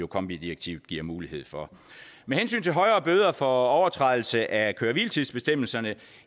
kombi direktivet giver mulighed for med hensyn til højere bøder for overtrædelse af køre hvile tids bestemmelserne